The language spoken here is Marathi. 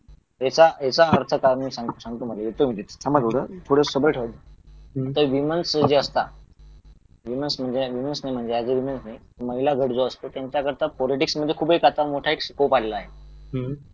याचा अर्थ कारण सांगतो येतो म्हणजे थोडा सबर ठेवा तर ह्यूमनस जे असतात विमेन्स म्हणजेअग्रीमेंट नाही महिला गट जो असतो त्याकरता पॉलीटिक्स मध्ये आता एक खूप मोठा स्कोप आलेला आहे